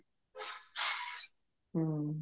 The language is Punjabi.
ਹਮ